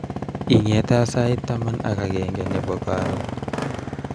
ingetaa sait taman ak agenge nebo karon